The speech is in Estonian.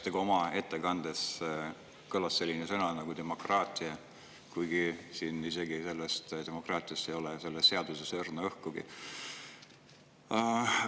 Teie ettekandes kõlas selline sõna nagu "demokraatia", kuigi demokraatiast ei ole selles seaduses õrna õhkugi.